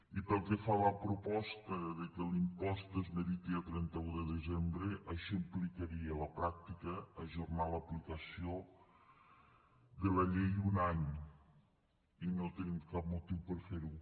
i pel que fa a la proposta de que l’impost es meriti a trenta un de desembre això implicaria a la pràctica ajornar l’aplicació de la llei un any i no tenim cap motiu per a fer ho